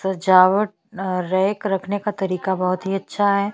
सजावट और रैक रखने का तरीका बहुत ही अच्छा है।